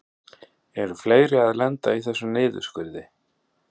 Eru fleiri að lenda í þessum niðurskurði?